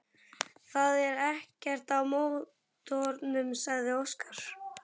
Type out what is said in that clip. Það er ekkert að mótornum, sagði Óskar.